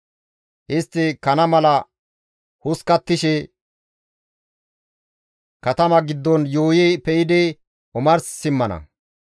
Istti kana mala hoskkattishe katama giddon yuuyi pe7idi omars simmana.